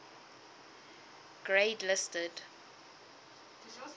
grade listed